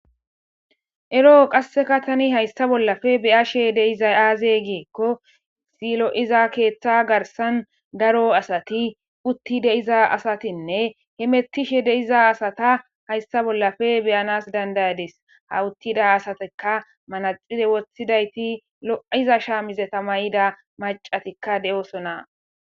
ero qasseka tani hayssa bollafe beyashe deizay aaze giekko silo7iza keeththa garsan daro asati uttide iza asatinne hemettishe deiza asata haysta bollafe beyanas dandayades ha uttida asateka manaxire woththidayti lo7iza shaamizeta may7ida macatikka de7oosona